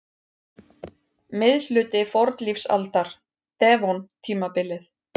Miðhluti fornlífsaldar- devon-tímabilið.